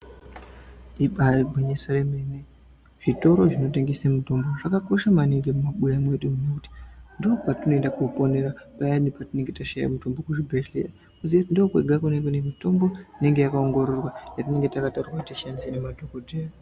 Ibari gwinyiso yemene, zvitoro zvinotengese mitombo zvakakosha maningi mumabuya mwedu nekuti ndokwatinoenda koponera payani patinenge tashaya mitombo muzvibhehleya toziya kuti ndokwega kune mune mitombo inenge yakaongororwa yatinenge takataurirwa kuti tishandise nemadhokodheya.